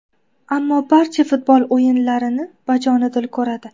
Ammo barcha futbol o‘yinlarini bajonidil ko‘radi.